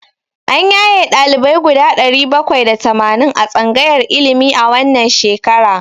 An yaye ɗalibai guda ɗari bakwai da tamanin a tsangayar ilimi a wannan shekara.